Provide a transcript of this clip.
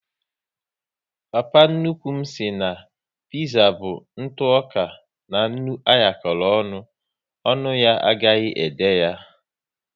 Papa nnukwu m sị na piza bụ ntụoka na nnu anyakoro ọṅụ, ọnụ ya agaghi ede ya